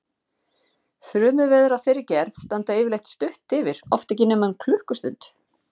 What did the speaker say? Þrumuveður af þeirri gerð standa yfirleitt stutt yfir, oft ekki nema um klukkustund.